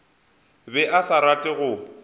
be a sa rate go